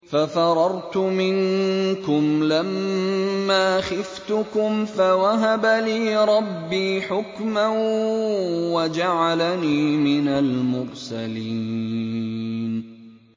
فَفَرَرْتُ مِنكُمْ لَمَّا خِفْتُكُمْ فَوَهَبَ لِي رَبِّي حُكْمًا وَجَعَلَنِي مِنَ الْمُرْسَلِينَ